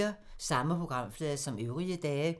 Samme programflade som øvrige dage